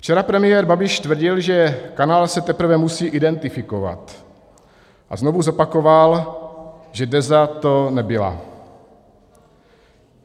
Včera premiér Babiš tvrdil, že kanál se teprve musí identifikovat, a znovu zopakoval, že Deza to nebyla.